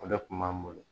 O de kun b'an bolo